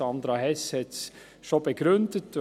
Sandra Hess hat es schon begründet: